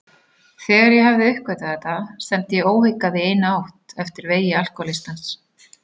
Þegar ég hafði uppgötvað þetta stefndi ég óhikað í eina átt, eftir vegi alkohólistans.